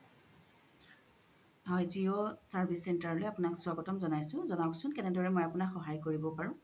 হয় Jio service center লই আপুনাক স্ৱাগতাম জোনাইচো জোনাবচো কেনেকই মই আপুনাক সহয় কৰিব পাৰো